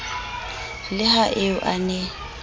le ha eo a ne